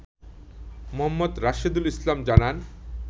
মো. রাশেদুল ইসলাম জানান